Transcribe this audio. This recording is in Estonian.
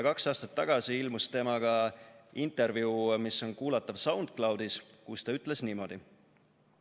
Kaks aastat tagasi ilmus temaga intervjuu, mis on kuulatav SoundCloudis, kus ta ütles niimoodi: "...